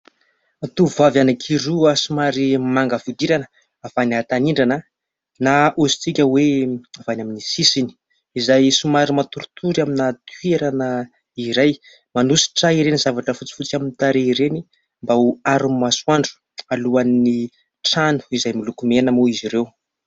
Tovovavy anankiroa somary manga fihodirana, avy any an- tanindrana na hoy isika hoe avy any amin'ny sisiny, izay somary matoritory amina toerana iray. Manosotra ireny zavatra fotsifotsy amin'ny tarehy ireny mba ho aron' ny masoandro. Alohan' ny trano izay miloko mena moa izy ireo.